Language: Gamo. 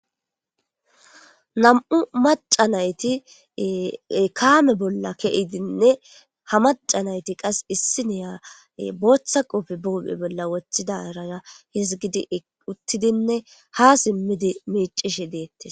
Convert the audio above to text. nam7u maca nayti kaame bolla keidinne ha maca nayti qas issi neya booththa qopfe buphe bolla wothidarara hizgidi uttidinne ha simmidi miicishi deette